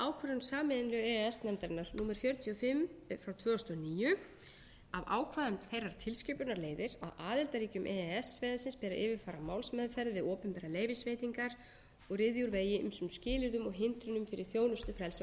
sameiginlegu e e s nefndarinnar númer fjörutíu og fimm tvö þúsund og níu af ákvæðum þeirrar tilskipunar leiðir að aðildarríkjum e e s svæðisins ber að yfirfara málsmeðferð við opinberar leyfisveitingar og ryðja úr vegi ýmsum skilyrðum og hindrunum fyrir þjónustufrelsi á